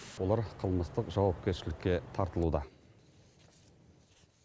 олар қылмыстық жауапкершілікке тартылуда